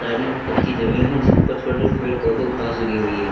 कच्ची जमीन है जिस पर छोटे छोटे पेड़ पौधे और घास उगी हुई है।